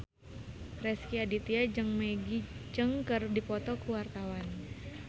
Rezky Aditya jeung Maggie Cheung keur dipoto ku wartawan